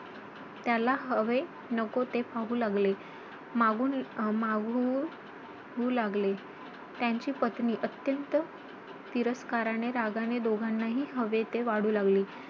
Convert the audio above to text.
त्याला हवे नको ते पाहू लागले. त्यांची पत्नी अत्यंत तिरस्काराने, रागाने दोघांनाही हवे ते वाढू लागली.